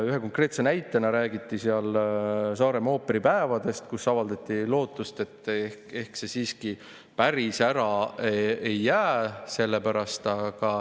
Ühe konkreetse näitena räägiti Saaremaa ooperipäevadest ja avaldati lootust, et ehk need siiski päris ära ei jää selle pärast.